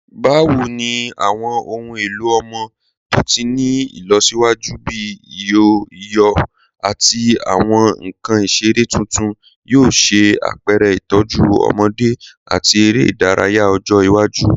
Bawo ni awọn ohun elo ọmọ to ti ni ilọsiwaju bi iyọ iyọ ati awọn nkan isere tuntun yoo ṣe apẹrẹ itọju ọmọde ati ere idaraya ọjọ iwaju?